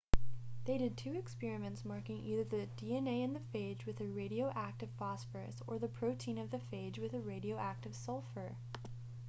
they did two experiments marking either the dna in the phage with a radioactive phosphorus or the protein of the phage with radioactive sulfur